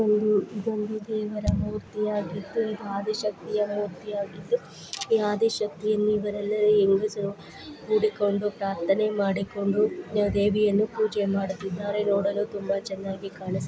ಇದೊಂದು ಗಂಡು ದೇವರ ಮೂರ್ತಿಯಾಗಿದ್ದು ಈ ಆದಿಶಕ್ತಿಯ ಮೂರ್ತಿಯಾಗಿದ್ದು ಈ ಆದಿಶಕ್ತಿಯ ಹೆಂಗಸರು ಕೂಡಿಕೊಂಡು ಪ್ರಾರ್ಥನೆ ಮಾಡಿಕೊಂಡು ದೇವಿಯನ್ನು ಪೂಜೆ ಮಾಡುತ್ತಿದ್ದಾರೆ ನೋಡಲು ತುಂಬಾ ಕಾಣಿಸುತ್ತಿದೆ.